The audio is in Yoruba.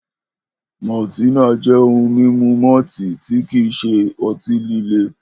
Maltina jẹ́ ohun mímu malt tí kìí ṣe ọtí-líle.